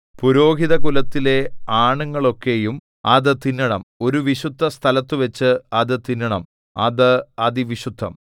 പുരോഹിതകുലത്തിലെ ആണുങ്ങളൊക്കെയും അത് തിന്നണം ഒരു വിശുദ്ധസ്ഥലത്തുവച്ചു അത് തിന്നണം അത് അതിവിശുദ്ധം